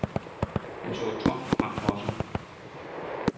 Han så tomt frem for sig.